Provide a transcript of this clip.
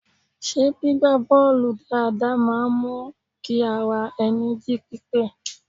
Ṣé gbígba bọ́ọ̀lù dáadáa máa ń mú kí ara ẹni jí pípé?